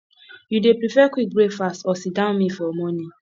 you dey prefer quick breakfast or sitdown meal for morning